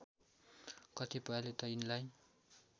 कतिपयले त यिनलाई